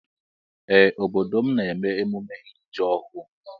Ee obodo m na eme emume iri ji ọhụ.